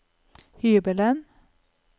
hybelen